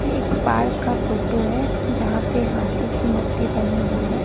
ये एक पार्क का फोटो है जहां पे हाथी की मूर्ति बनी हुई है।